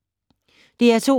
DR2